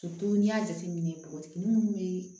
n'i y'a jateminɛ npogotiginin minnu bɛ